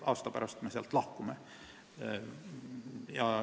Aasta pärast me sealt lahkume.